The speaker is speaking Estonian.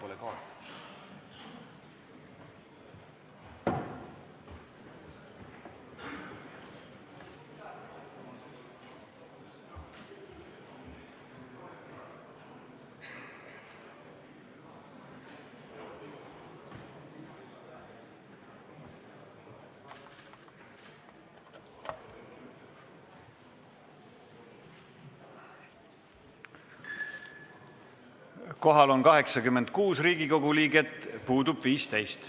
Kohaloleku kontroll Kohal on 86 Riigikogu liiget, puudub 15.